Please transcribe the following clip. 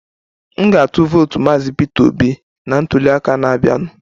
M ga-atụ vootu maazị Peter Obi na ntuliaka na-abịanụ